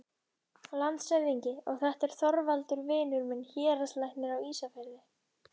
LANDSHÖFÐINGI: Og þetta er Þorvaldur, vinur minn, héraðslæknir á Ísafirði.